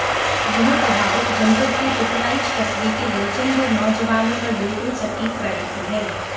यह कहावत जनपद के पिपराइच कस्बे के दर्जनभर नौजवानों पर बिल्कुल सटीक बैठती है